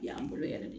Yan bolo yɛrɛ de